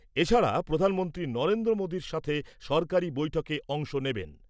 এছাড়া প্রধানমন্ত্রী নরেন্দ্র মোদির সঙ্গে সরকারি বৈঠকে অংশ নেবেন।